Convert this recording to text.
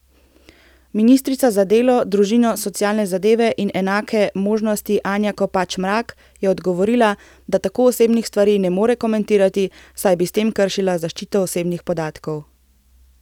Ministrica za delo, družino, socialne zadeve in enake možnosti Anja Kopač Mrak je odgovorila, da tako osebnih stvari ne more komentirati, saj bi s tem kršila zaščito osebnih podatkov.